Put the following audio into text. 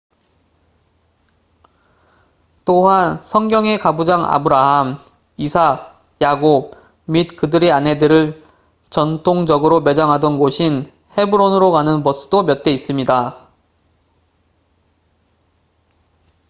또한 성경의 가부장 아브라함 이삭 야곱 및 그들의 아내들을 전통적으로 매장하던 곳인 헤브론으로 가는 버스도 몇 대 있습니다